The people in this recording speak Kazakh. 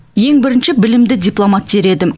ең бірінші білімді дипломат дер едім